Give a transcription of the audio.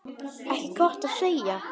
Ekki gott að segja.